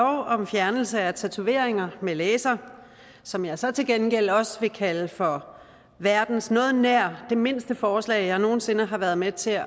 om fjernelse af tatoveringer med laser som jeg så til gengæld også vil kalde for verdens noget nær mindste forslag som jeg nogen sinde har været med til